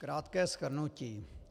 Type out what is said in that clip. Krátké shrnutí.